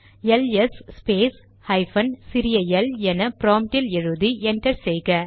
LS space hyphen சிறிய L என ப்ராம்ட்டில் எழுதி என்டர் செய்க